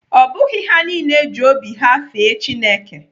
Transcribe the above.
Ọ bụghị ha niile ji obi ha fee Chineke.